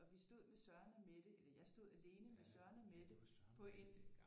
Og vi stod med Søren og Mette eller jeg stod alene med Søren og Mette på en